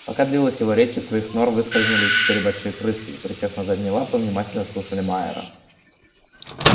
пока длилась его речь из своих нор выскользнули четыре большие крысы и присев на задние лапы внимательно слушали майера